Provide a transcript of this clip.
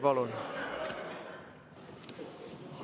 Palun!